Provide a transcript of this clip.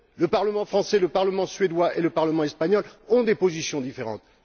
Le Parlement français, le Parlement suédois et le Parlement espagnol ont des positions différentes.